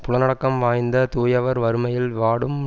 புலனடக்கம் வாய்ந்த தூயவர் வறுமையில் வாடும்